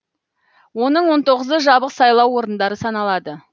оның он тоғызы жабық сайлау орындары саналады